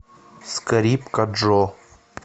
скрипка джо